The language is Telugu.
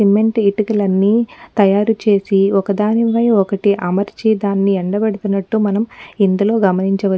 సిమెంటు ఇటుకులన్ని తయారు చేసి ఒక్కదానిపై ఒక్కటి అమర్చి దాని ఎండబెడుతునట్టు మనం ఇందులో గమనించవ --